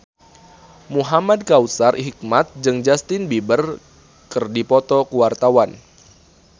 Muhamad Kautsar Hikmat jeung Justin Beiber keur dipoto ku wartawan